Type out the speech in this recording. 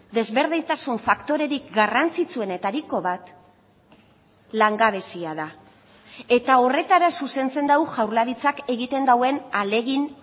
desberdintasun faktorerik garrantzitsuenetariko bat langabezia da eta horretara zuzentzen du jaurlaritzak egiten duen ahalegin